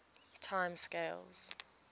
time scales